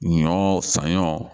Ɲɔ sanɲɔ